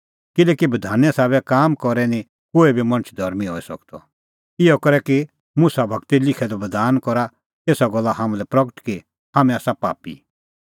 किल्हैकि बधाने साबै कामां करै निं कोहै बी मणछ धर्मीं हई सकदअ इहअ करै कि मुसा गूरै लिखअ द बधान करा एसा गल्ला हाम्हां लै प्रगट कि हाम्हैं आसा पापी